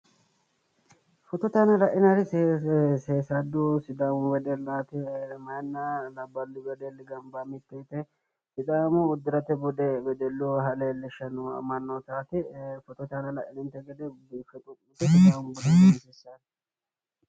Footote aana lainaayiri seesallu sidaamu wedellaati meyaatino labbaahuno wedelli gamba yee mitteehige sidaamu udfirate bude ficheete wedelluha leellishshanno mannootaati footote aana laininte gede biiffe lowo geeshsha baxisanno